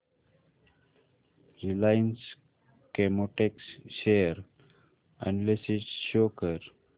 Reliance Chemotex share analysis show कर